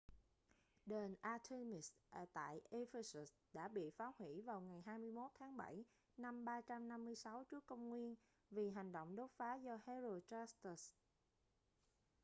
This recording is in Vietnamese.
đền artemis tại ephesus đã bị phá hủy vào ngày 21 tháng 7 năm 356 tcn vì hành động đốt phá do herostratus